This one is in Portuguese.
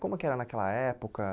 Como que era naquela época?